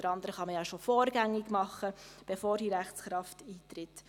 Das eine oder andere kann man ja schon vorrangig tun, bevor die Rechtskraft eintritt.